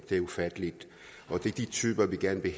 det er ufatteligt og det er de typer vi gerne vil